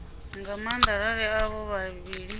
nga maanda arali avho vhavhili